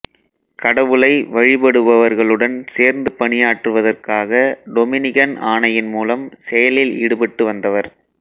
கடவுளை வழிபடுபவர்களுடன் சேர்ந்து பணியாற்றுவதற்காக டொமினிகன் ஆணையின் மூலம் செயலில் ஈடுபட்டு வந்தவர்